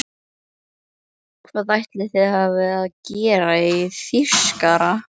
Hvað ætli þið hafið að gera í Þýskarana!